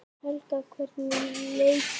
Helga: Hvernig leið ykkur?